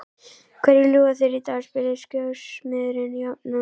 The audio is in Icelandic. Hverju ljúga þeir í dag? spurði skósmiðurinn jafnan.